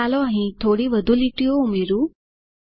ચાલો અહીં થોડી વધુ લીટીઓ ઉમેરું